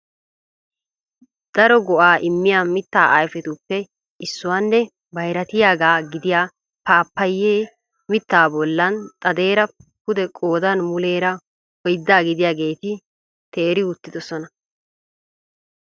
Daro go"a immiya mitta ayfetuppe issuwaanne bayratiyaaga gidiyaa Pappayye mitta bollan xadeera pudee qoodan muleera oydda gidiyaageeti teeri uttidoosona .